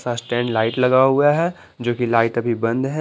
Light लगा हुआ है जो कि लाइट अभी बंद है।